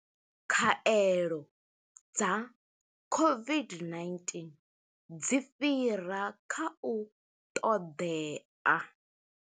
Khaelo dza COVID-19 dzi fhira kha u ṱoḓea.